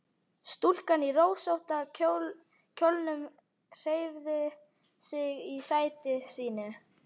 Stúlkan í rósótta kjólnum hreyfði sig í sæti sínu.